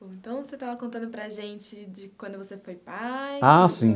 Bom, então, você estava contando para a gente de quando você foi pai... Ah, sim.